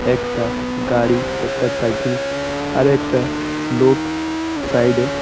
একটা গাড়ি একটা সাইকেল আর একটা লোক সাইড এ --